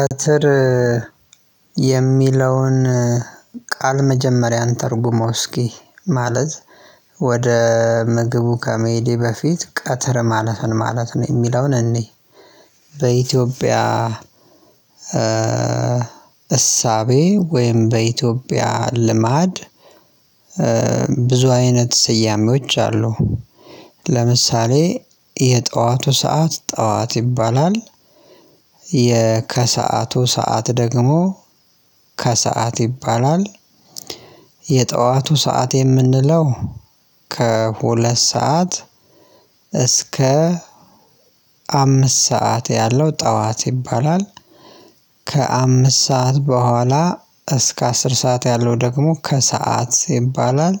ኧትር የሚለውን ቃል መጀመሪያ እንተርጉመው እስኪ ማለት ወደ ምግቡ ከመሄዴ በፊት ቀትር ማለት ምን ማለት ነው የሚለውን እንይ? በኢትዮጵያ እሳቤ ወይም በኢትዮጵያ ልማድ ብዙ አይነት ስያሜዎች አሉ ለምሳሌ የጠዋቱ ሰዓት ጠዋት ይባላል። ከሰአቱ ሰዓት ደግሞ ከሰአት ይባላል። የጠዋቱ ሰዓት የምንለው ከሁለት ሰዓት እስከ አምስት ሰዓት ያለው ጠዋት ይባላል። ከአምስት ሰዓት በኋላ እስከ አስር ሰዓት ያለው ደግሞ ከሰአት ይባላል።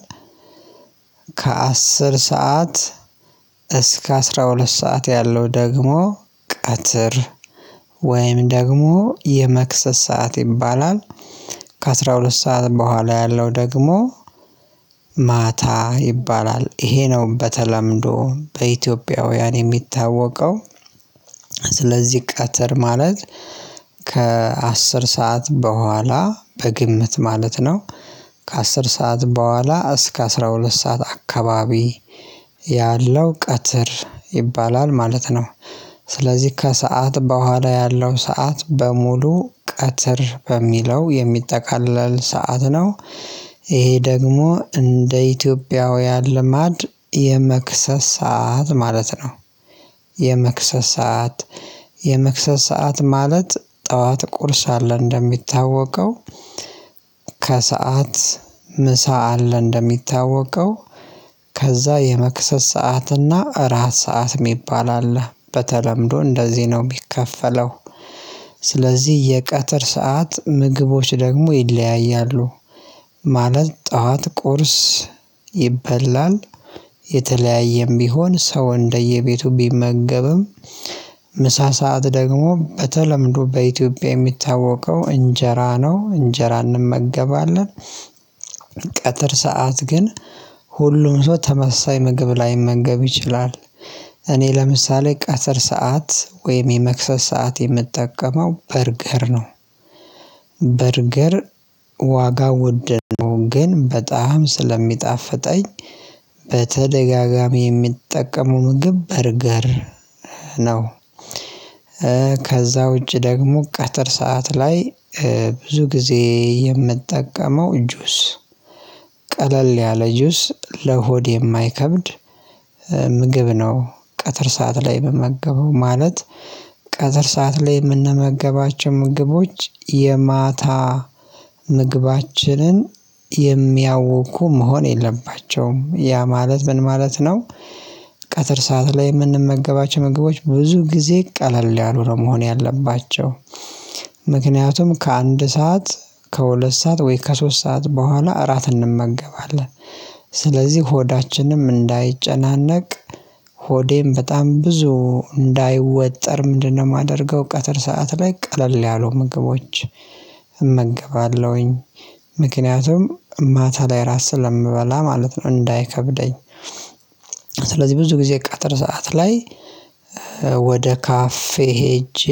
ከአስር ሰዓት እስከ አስራ ሁለት ሰዓት ያለው ደግሞ ቀትር ወይም ደግሞ የመክሰስ ሰዓት ይባላል። ከአሥራ ሁለት ሰዓት በኋላ ያለው ደግሞ ማታ ይባላል ይሄ ነው በተለምዶ በኢትዮጵያውያን የሚታወቀው። ስለዚህ ቀትር ማለት ከአስር ሰዓት በኋላ በግምት ማለት ነው። ከአስር ሰዓት በኋላ እስከ አስራ ሁለት ሰዓት አካባቢ ያለው ቀትር ይባላል ማለት ነው። ስለዚህ ከሰአት በኋላ ያለው ሰዓት በሙሉ ቀትር በሚለው የሚጠቃለል ሰዓት ነው። ይሄ ደግሞ እንደ ኢትዮጵያውያን ልማድ የመክሰስ ሰዓት ማለት ነው። የመክሰስ ሰዓት የመክሰስ ሰዓት ማለት ጠዋት ቁርስ አለ እንደሚታወቀው ከሰአት ምሳ አለ እንደሚታወቀው ከዛ የመክሰስ ሰዓትና እራት ሰዓት የሚባል አለ በተለምዶ እንደዚህ ነው የሚከፈለው። ስለዚህ የቀትር ሰዓት ምግቦች ደግሞ ይለያያሉ። ማለት ጠዋት ቁርስ ይበላል የተለያየም ቢሆን ሰው እንደየቤቱ ቢመገብም ምሳ ሰዓት ደግሞ በተለምዶ በኢትዮጵያ የሚታወቀው እንጀራ ነው እንጀራ እንመገባለን። ቀጥር ሰዓት ግን ሁሉም ሰው ተመሳሳይ ምግብ ላይመገብ ይችላል። እኔ ለምሳሌ ቀትር ሰዓት ወይም የመክሰስ ሰዓት የምጠቀመው በርገር ነው። በርገር ዋጋ ውድ ነው ግን በጣም ስለሚጣፍጠኝ በተደጋጋሚ የሚጠቀሙ ምግብ በረገር ነው። ከዛ ውጪ ደግሞ ቀትር ሰዓት ላይ ብዙ ጊዜ የምጠቀመው ጁስ ቀለል ያለ ጁስ ለሆድ የማይከብድ ምግብ ነው። ቀትር ሰዓት ላይ የምመገበው ማለት ቀትር ሰዓት ላይ የምንመገባቸው ምግቦች የማታ ምግባችንን የሚያውኩ መሆን የለባቸውም ያ ማለት ምን ማለት ነው? ቀትር ሰዓት ላይ የምንመገባቸው ምግቦች ብዙ ጊዜ ቀለል ያሉ ነው መሆን ያለባቸው። ምክንያቱም ከአንድ ሰዓት ከሁለት ሰዓት ወይ ከሶስት ሰዓት በኋላ እራት እንመገባለን። ስለዚህ ሆዳችንም እንዳይጨናነቅ ሆዴም በጣም ብዙ እንዳይወጠር ምንድነው የማደርገው ቀትር ሰዓት ላይ ቀለል ያሉ ምግቦች እመገባለሁኝ። ምክንያቱም ማታ ላይ ራት ስለምበላ ማለት ነው እንዳይከብደኝ። ስለዚህ ብዙ ጊዜ ቀትር ሰዓት ላይ ወደ ካፌ ሄጄ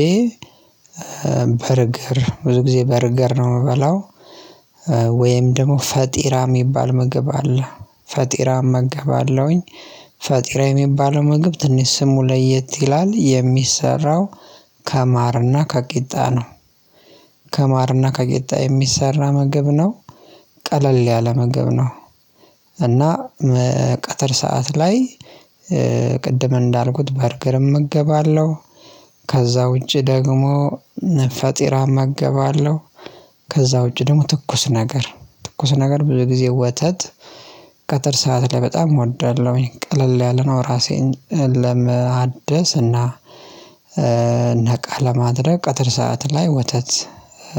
በርገር ብዙ ጊዜ በርገር ነው የምበላው። ወይም ደግሞ ፈጢራ የሚባል ምግብ አለ ፈጢራ እመገባለሁኝ ፈጢራ የሚባለው ምግብ ትንሽ ስሙ ለየት ይላል የሚሰራው ከማርና ከቂጣ ነው። ከማር ከቂጣ የሚሰራ ምግብ ነው። ቀለል ያለ ምግብ ነው። እና ቀትር ሰዓት ላይ ቅድም እንዳልኩት በርገር እመገባለሁ ከዛ ውጪ ደግሞ ፈጢራም እመገባለሁ። ከዛ ውጪ ደግሞ ትኩስ ነገር ትኩስ ነገር ብዙ ጊዜ ወተት ቀጥር ሰዓት ላይ በጣም እወዳለሁ ቀለል ያለነው ራሴን ለመአደስ እና ነቃ ለማድረግ ቀጥር ሰዓት ላይ ወተት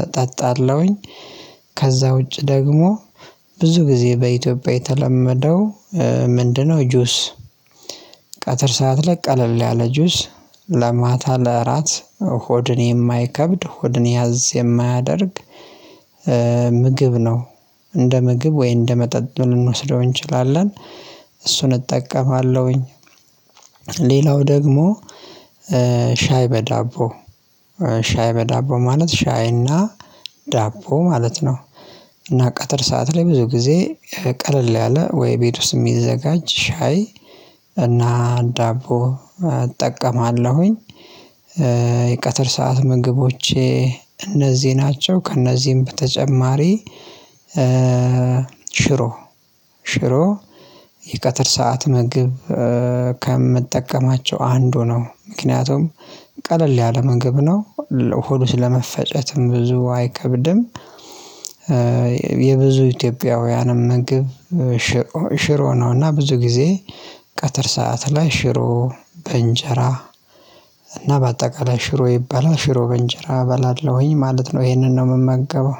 እጠጣለሁኝ። ከዛ ውጪ ደግሞ ብዙ ጊዜ በኢትዮጵያ የተለመደው ምንድነው ጁስ ቀትር ሰዓት ላይ ቀለል ያለ ጁስ ለማታ ለእራት ሆድን የማይከብድ ሆድን ያዝ የማያደርግ ምግብ ነው። እንደ ምግብ ወይ እንደ መጠጥ ልንወስደው እንችላለን እሱን እጠቀማለሁኝ። ሌላው ደግሞ ሻይ በዳቦ ሻይ በዳቦ ማለት ሻይና ዳቦ ማለት ነው። እና ቀትር ሰዓት ላይ ብዙ ጊዜ ቀለል ያለ ወይ ቤት ውስጥ የሚዘጋጅ ሻይ እና ዳቦ እጠቀማለሁኝ። የቀትር ሰዓት ምግቦቼ እነዚህ ናቸው ከእነዚህም በተጨማሪ ሽሮ ሽሮ የቀትር ሰዓት ምግብ ከምጠቀማቸው አንዱ ነው ምክንያቱም ቀለል ያለ ምግብ ነው ለሆድ ስለ መፈጨትም ብዙ አይከብድም። የብዙ ኢትዮጵያውያንም ምግብ ሽሮ ነውና እና ብዙ ጊዜ ቀትር ሰዓት ላይ ሽሮ በእንጀራ እና በአጠቃላይ ሽሮ ይበላ ሽሮ በእንጀራ እበላለሁኝ ማለት ነው። ይሄንን ነው የምመገበው